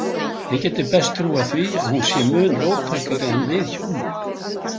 Ég gæti best trúað því að hún sé mun róttækari en við hjónin.